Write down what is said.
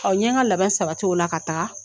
n ɲe n ka labɛn sabati o la ka taga